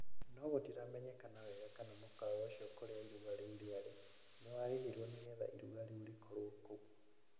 No gũtiramenyekana wega kana mũkawa ũcio kũria iruga rĩu rĩarĩ nĩ warĩhirwo nĩgetha iruga rĩu rĩkorwo kũu.